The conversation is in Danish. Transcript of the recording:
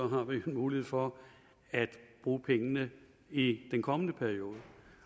har vi mulighed for at bruge pengene i den kommende periode